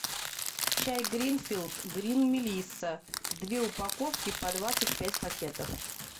чай гринфилд грин мелисса две упаковки по двадцать пять пакетов